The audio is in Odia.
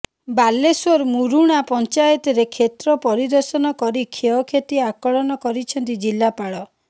ବାଲେଶ୍ୱର ମୁରୁଣା ପଞ୍ଚାୟତରେ କ୍ଷେତ୍ର ପରିଦର୍ଶନ କରି କ୍ଷୟକ୍ଷତି ଆକଳନ କରିଛନ୍ତି ଜିଲ୍ଲାପାଳ